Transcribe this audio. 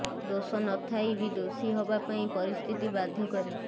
ଦୋଷ ନ ଥାଇ ବ ଦୋଷୀ ହବା ପାଇଁ ପରିସ୍ଥିତି ବାଧ୍ୟ କରେ